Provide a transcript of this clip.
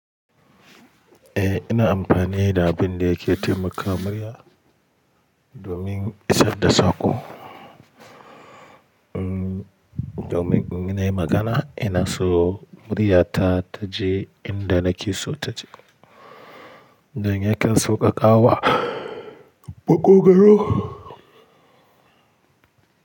Eh ina amfani da abin da yake taimakawa murya domin isar da sako domin nayi magana inaso murya ta taje inda nakeso taje daga kan saukakawa makogoro.